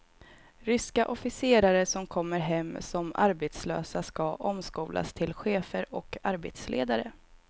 Ryska officerare som kommer hem som arbetslösa ska omskolas till chefer och arbetsledare.